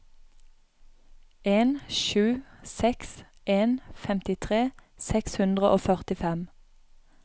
en sju seks en femtitre seks hundre og førtifem